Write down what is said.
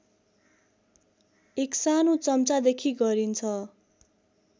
एक सानो चम्चादेखि गरिन्छ